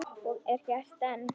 Og er gert enn.